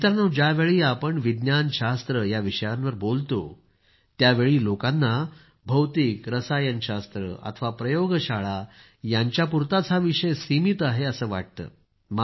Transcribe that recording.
मित्रांनो ज्यावेळी आपण विज्ञानशास्त्र याविषयावर बोलतो त्यावेळी लोकांना भौतिकरसायन शास्त्र अथवा प्रयोगशाळा यांच्यापुरता हा विषय सीमित आहे असं वाटतं